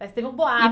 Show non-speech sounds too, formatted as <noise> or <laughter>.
Mas teve um <unintelligible>